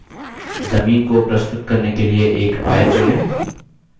जमीन को प्रस्तुत करने के लिए एक आयत जोड़ें